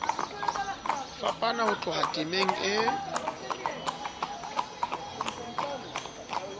fapana ho tloha temeng e